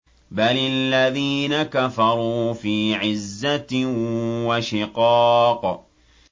بَلِ الَّذِينَ كَفَرُوا فِي عِزَّةٍ وَشِقَاقٍ